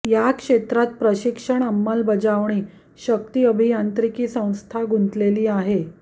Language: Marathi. या क्षेत्रात प्रशिक्षण अंमलबजावणी शक्ती अभियांत्रिकी संस्था गुंतलेली आहे